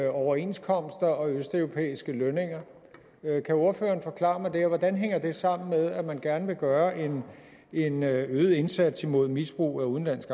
overenskomster og østeuropæiske lønninger kan ordføreren forklare mig det og hvordan hænger det sammen med at man gerne vil gøre en en øget indsats imod misbrug af udenlandsk